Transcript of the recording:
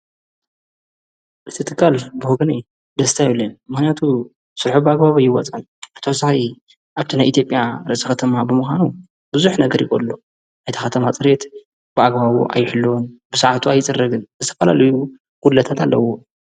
እቲ ትኻል ብሁገኔ ደስትዩልን መክንያቱ ሱልሒ ብ ኣግባዊ ኣይወጻይ ኣታሳይ ኣብትናይ ኢቲጴያ ረሰ ኸተማ ብምዃኑ ብዙኅ ነገር ይኮሎ ኣይታኻተማ ጽሬት ብኣግባቡ ኣይሕልወን ብሳዓቱ ኣይጽረግን ዝተፈላልዩ ጕለታት ኣለዎ።